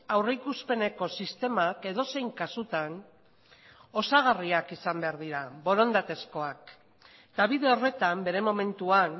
aurrikuspeneko sistemak edozein kasutan osagarriak izan behar dira borondatezkoak eta bide horretan bere momentuan